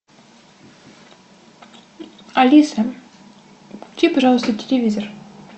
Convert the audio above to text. алиса включи пожалуйста телевизор